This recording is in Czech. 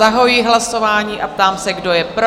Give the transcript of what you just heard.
Zahajuji hlasování a ptám se, kdo je pro?